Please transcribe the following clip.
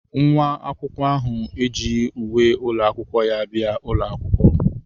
Nwa akwụkwọ ahụ ejighị uwe ụlọ akwụkwọ ya bịa ụlọ akwụkwọ.